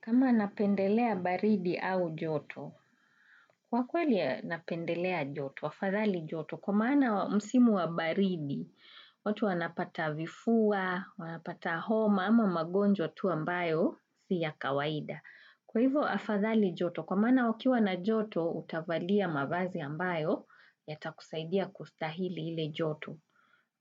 Kama napendelea baridi au joto, kwa kweli napendelea joto, afadhali joto. Kwa maana msimu wa baridi, watu wanapata vifua, wanapata homa ama magonjwa tu ambayo, si ya kawaida. Kwa hivyo afadhali joto, kwa maana wakiwa na joto utavalia mavazi ambayo, yatakusaidia kustahili ile joto.